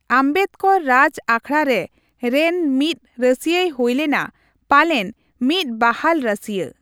ᱟᱢᱵᱮᱫᱠᱚᱨ ᱨᱟᱡᱽ ᱟᱠᱷᱲᱟᱨᱮ ᱨᱮᱱ ᱢᱤᱫ ᱨᱟᱹᱥᱤᱭᱟᱹᱭ ᱦᱩᱭᱞᱮᱱᱟ, ᱯᱟᱞᱮᱱ ᱢᱤᱫ ᱵᱟᱦᱟᱞ ᱨᱟᱹᱥᱤᱭᱟᱹ ᱾